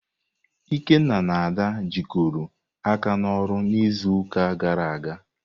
Ikenna na Ada jikọrọ aka n'ọrụ n'izuụka gara aga?